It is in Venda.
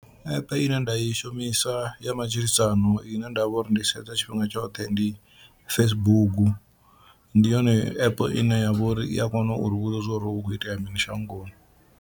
App ine nda i shumisa ya matshilisano ine nda vha uri ndi sedza tshifhinga tshoṱhe ndi Facebook, ndi yone app ine ya vha uri i a kona uri vhudza zwori hu kho itea mini shangoni.